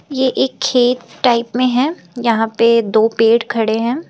ये एक खेत टाइप में हैं यहां पे दो पेड़ खड़े हैं।